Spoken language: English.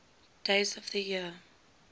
days of the year